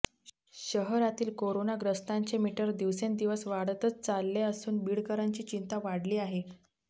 शहरातील कोरोनाग्रस्तांचे मीटर दिवसेंदिवस वाढतच चालले असून बीडकरांची चिंता वाढली आहे